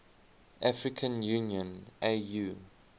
african union au